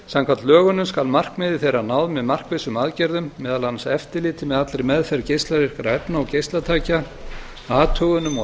samkvæmt lögunum skal markmiði þeirra náð með markvissum aðgerðum meðal annars eftirliti með allri meðferð geislavirkra efna og geislatækja athugunum og